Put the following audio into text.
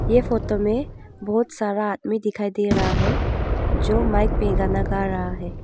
ये फोटो में बहुत सारा आदमी दिखाई दे रहा है जो माइक पे गाना गा रहा है।